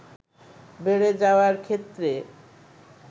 বেড়ে যাওয়ার ক্ষেত্রে